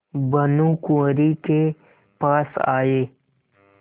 भानुकुँवरि के पास आये